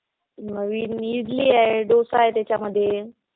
नवीन मी इडली आहे, डोसा आहे त्याच्यामध्ये.